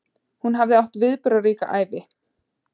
Hún hafði átt viðburðaríka ævi.